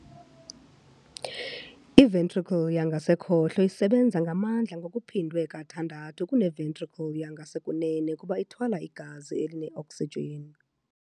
I-ventricle yangasekhohlo isebenza ngamandla ngokuphindwe kathandathu kune-ventricle yangasekunene kuba ithwala igazi eline-oksijini.